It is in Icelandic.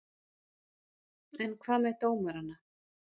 En hvað með dómarana?